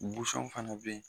fana be yen.